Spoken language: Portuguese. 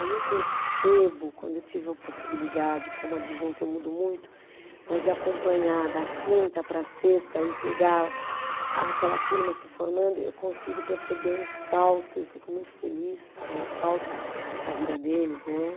Aí eu percebo, quando eu tive a possibilidade, como adjunta eu mudo muito, mas de acompanhar da quinta para a sexta e pegar aquela turma se formando, eu consigo perceber um salto, eu fico muito feliz né, um salto na vida deles, né?